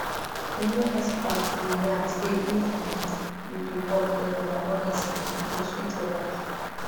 you know experts dey yarn say if um you dey walk regular honestly e go sweet your life